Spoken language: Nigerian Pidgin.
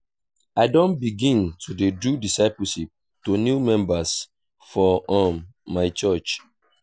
i don begin to dey do discipleship to new members for um my church.